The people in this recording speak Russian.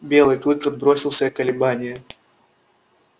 белый клык отбросил все колебания